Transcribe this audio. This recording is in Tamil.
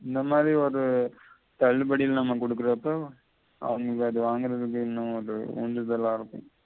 இந்த மாதி ஒரு தள்ளுபடி இல்லாம கொடுக்குறது தான் அவங்க அத வாங்குறததுக்கு எண்ணம் அத உண்டுதலா இருக்கும்